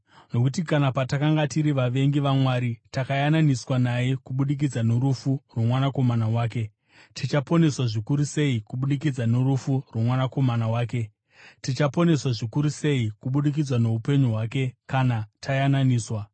Nokuti kana, patakanga tiri vavengi vaMwari, takayananiswa naye kubudikidza norufu rwoMwanakomana wake, tichaponeswa zvikuru sei kubudikidza norufu rwoMwanakomana wake, tichaponeswa zvikuru sei kubudikidza noupenyu hwake, kana tayananiswa!